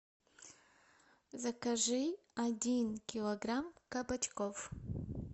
закажи один килограмм кабачков